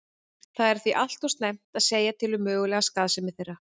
Það er því allt of snemmt að segja til um mögulega skaðsemi þeirra.